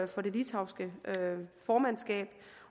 det litauiske formandskab